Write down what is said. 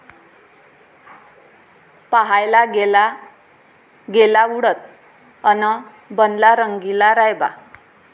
पाहायला गेला गेला उडत अन् बनला रंगीला रायबा